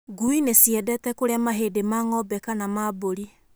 Ngui nĩ ciendete kũrĩa mahĩndĩ ma ng'ombe kana ma mbũri.